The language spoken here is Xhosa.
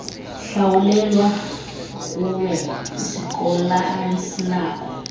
hlawulelwa kwye isikoloasinako